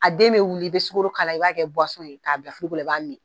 A den bɛ wuli i bɛ sukoro k'a la i b'a kɛ ye k'a bila la i b'a min.